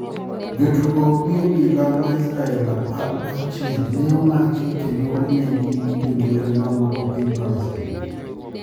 Jo tugo gi obila ma Israel apar gi achiel ne omaki kendo onegi gi jo njore ma wuok e piny Palestin.